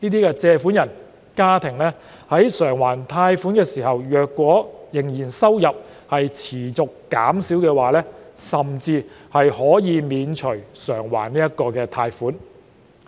如借款人或家庭須償還貸款時，收入仍持續減少，甚至可獲豁免償還貸款。